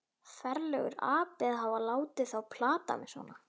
Ferlegur api að hafa látið þá plata mig svona.